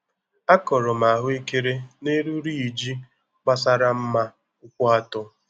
Akọrọ m ahụekere nelu riiji gbasara mma ụkwụ atọ